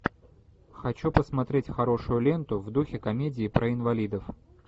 хочу посмотреть хорошую ленту в духе комедии про инвалидов